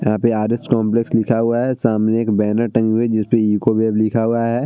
यहाँ पे R S. Complex लिखा हुआ है | सामने एक बैनर टंगी हुई है जिसपे इकोवेव लिखा हुआ है |